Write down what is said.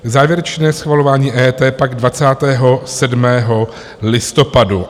Závěrečné schvalování EET pak 27. listopadu.